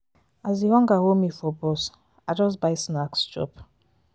as di hunger hold me for bus i just buy snacks chop.